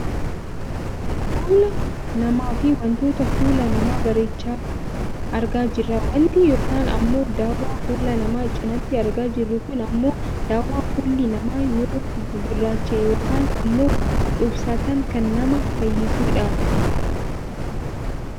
Fuula namaa fi wantoota fuula namaa bareechan argaa jirra. Wanti yookaan ammoo dawwaan fuula namaa cinaatti argaa jirru kun ammoo daawwaa fuulli namaa yoo gugurraacha'e yookaan ammoo dhuubsatan kan nama fayyisudha.